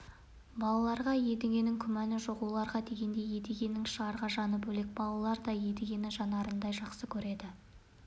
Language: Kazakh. балаларға едігенің күмәні жоқ олар дегенде едігенің шығарға жаны бөлек балалар да едігені жандарындай жақсы көреді